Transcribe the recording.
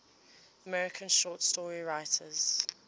american short story writers